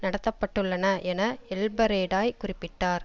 நடத்த பட்டுள்ளன என எல்பரடேய் குறிப்பிட்டார்